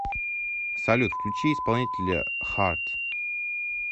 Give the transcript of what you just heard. салют включи исполнителя хаарт